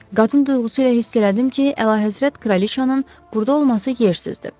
Qadın duyğusu ilə hiss elədim ki, əlahəzrət kraliçanın burda olması yersizdir.